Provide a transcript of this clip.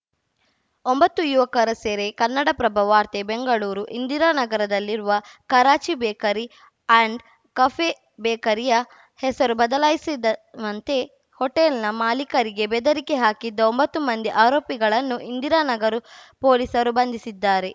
ಒಂಬತ್ತು ಯುವಕರ ಸೆರೆ ಕನ್ನಡಪ್ರಭ ವಾರ್ತೆ ಬೆಂಗಳೂರು ಇಂದಿರಾನಗರದಲ್ಲಿರುವ ಕರಾಚಿ ಬೇಕರಿ ಆ್ಯಂಡ್‌ ಕಫೆ ಬೇಕರಿಯ ಹೆಸರು ಬದಲಾಯಿಸಿದವಂತೆ ಹೋಟೆಲ್‌ನ ಮಾಲಿಕರಿಗೆ ಬೆದರಿಕೆ ಹಾಕಿದ್ದ ಒಂಬತ್ತು ಮಂದಿ ಆರೋಪಿಗಳನ್ನು ಇಂದಿರಾನಗರ ಪೊಲೀಸರು ಬಂಧಿಸಿದ್ದಾರೆ